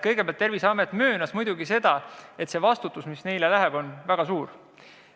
Kõigepealt, Terviseamet muidugi möönis, et see vastutus, mis neile antakse, on väga suur.